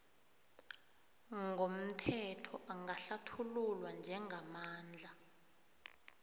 ngomthetho angahlathululwa njengamandla